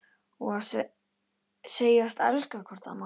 Og segjast elska hvort annað.